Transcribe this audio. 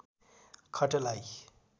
खटलाई